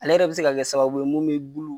Ale yɛrɛ bi se ka kɛ sababu ye mun min bulu